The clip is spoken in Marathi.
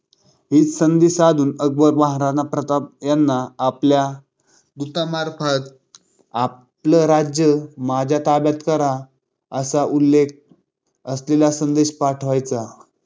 हीच संधी साधून अकबर महाराणा प्रताप यांना आपल्या दूतामार्फत आपलं राज्य माझ्या ताब्यात करा असा उल्लेख असलेले संदेश पाठवायचा.